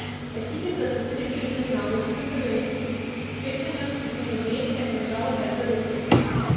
Ekipi sta se srečali tudi na evropskem prvenstvu, srečanje v skupini B se je končalo brez zadetkov.